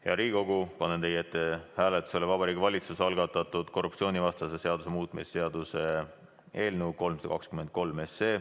Hea Riigikogu, panen teie ette hääletusele Vabariigi Valitsuse algatatud korruptsioonivastase seaduse muutmise seaduse eelnõu 323.